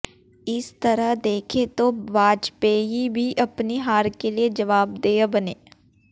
इस तरह देखें तो वाजपेयी भी अपनी हार के लिए जवाबदेह बने